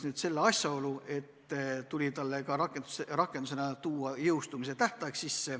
Nüüd tuli lisada ka jõustumise tähtaeg.